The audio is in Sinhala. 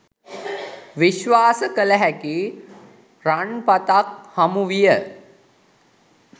විශ්වාස කළ හැකි රන්පතක් හමු විය